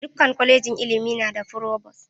Dukkan kolejin ilimi na da frovos.